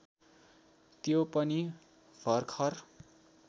त्यो पनि भर्खर